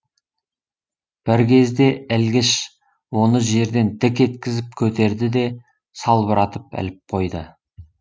бір кезде ілгіш оны жерден дік еткізіп көтерді де салбыратып іліп қойды